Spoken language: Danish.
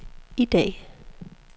i dag